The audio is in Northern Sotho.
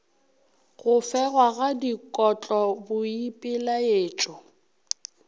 go fegwa ga dikotlo boipelaetšo